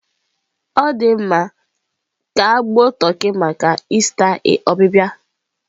Ọ dị mma, ka gbuo toki maka ista ọbịbịa